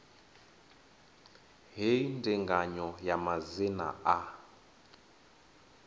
hei ndinganyo ya madzina a